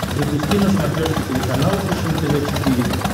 запусти на смотрешке телеканал фэшен тв четыре к